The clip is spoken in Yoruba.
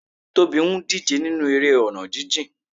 Tobi ń díje nínú eré ọ̀nà jijìn.